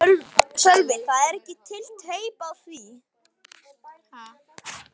Sölvi: Það er ekki til teip af því?